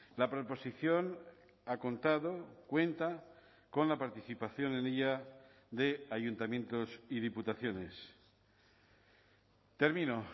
la proposición ha contado cuenta con la participación en ella de ayuntamientos y diputaciones termino